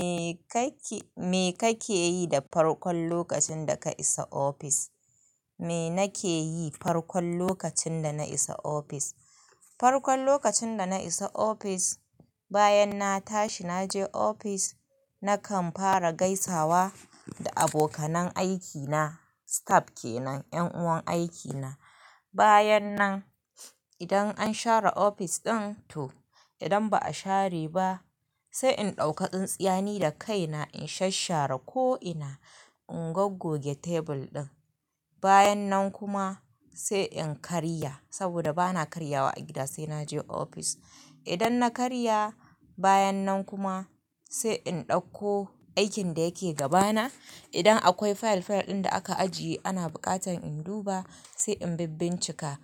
Me kake, me kake yi da farkon lokacin da ka isa ofis? Me nake yi farkon lokacin da na isa ofis? Farkon lokacin da na isa ofis, bayan na tashi naje ofis, nakan fara gaisawa da abokanan aikina, staff kenan, 'yan uwan aikina. Bayan nan, idan an share ofis ɗin to, idan ba a share ba, sai in ɗauka tsintsiyani da kaina in shasshara ko'ina, in gogge tebur ɗin. Bayan nan kuma sai in karya saboda bana karyawa a gida sai naje ofis. Idan na karya, bayan nan kuma sai in ɗauko aikin da yake gabana. Idan akwai fayil-fayil ɗin da aka ajiye ana buƙatan in duba sai in bibbincika.